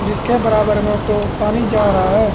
जिसके बराबर में को पानी जा रहा है।